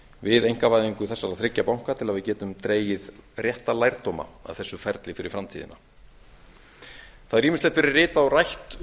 við einkavæðingu þessara þriggja banka til að við getum dregið rétta lærdóma af þessu ferli fyrir framtíðina það hefur ýmislegt gerð ritað og rætt